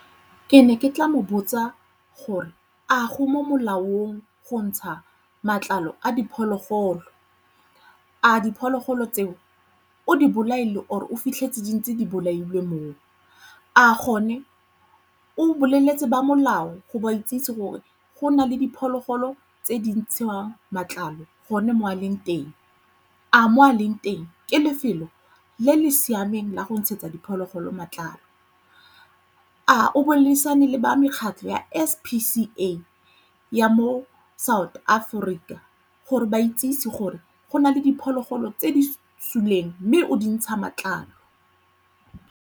Ke ne ke tla mo botsa gore a go mo molaong go ntsha matlalo a diphologolo? A diphologolo tseo o di bolaile or o fitlhetse di ntse di bolaile moo? A gone o boleletse ba molao go ba itsise gore go na le diphologolo tse di ntshiwang matlalo gone mo a leng teng? A mo a leng teng ke lefelo le le siameng la go ntshetsa diphologolo matlalo? A o boleng tswana le ba mekgatlho ya S_P_C_A ya mo South Africa gore o ba itsesi gore go na le diphologolo tse di suleng mme o dintsha matlalo?